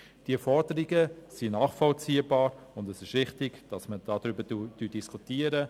Die Forderungen sind nachvollziehbar, und es ist richtig, dass wir darüber diskutieren.